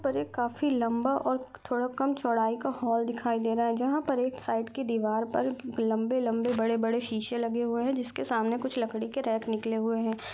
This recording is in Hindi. ऊपर एक काफ़ी लम्बा और थोड़ा कम चौड़ाई का हॉल दिखाई दे रहा है जहाँ पर एक साइड की दीवार पर लंबे-लंबे बड़े-बड़े शीशे लगे हुए हैं जिसके सामने कुछ लकड़ी के रैक निकले हुए हैं।